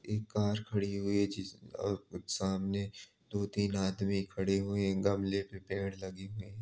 एक कार खड़ी हुई है जिस-अ सामने दो तीन आदमी खड़े हुए हैं। गमले पे पेड़ लगे हुए हैं।